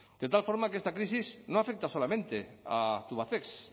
de tal forma que esta crisis no afecta solamente a tubacex